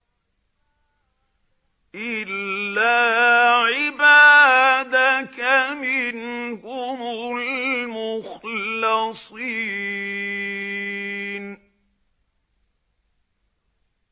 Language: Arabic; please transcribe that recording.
إِلَّا عِبَادَكَ مِنْهُمُ الْمُخْلَصِينَ